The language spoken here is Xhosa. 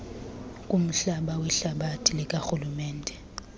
kumhlaba wehlathi likarhulumente